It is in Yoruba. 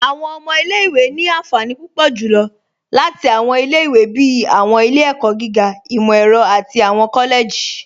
Awọn ọmọ ilẹ̀-ìwé ni ànfànì púpọ̀ julọ́ láti awọn ilẹ̀-ìwé bíi awọn ilẹ̀-ẹ̀kọ̀ gígà, imọ-ẹrọ̀, àti awọn kọ́lẹ̀jì.